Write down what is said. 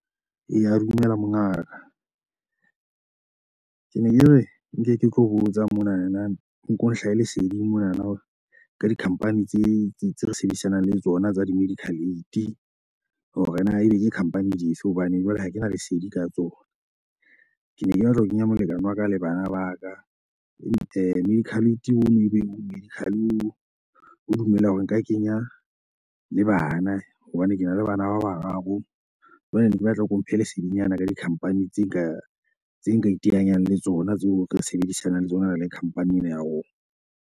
Eya, dumela mongaka. Ke ne ke re nke ke tlo botsa monana o ko nhlahe leseding monana hore ka di-company tse tse re sebedisanang le tsona tsa di-medical aid. Hore na ebe ke company di fe hobane jwale ha ke na lesedi ka tsona. Ke ne ke batla ho kenya molekane wa ka le bana ba ka. E medical aid o no, ebe o ka dumela hore nka kenya le bana, hobane ke na le bana ba bararo. Jwale ne ke batla ho mphe lesedinyana ka di-company tse ka tse nka iteanyang le tsona tseo re sebedisanang le tsona re le company ena ya rona.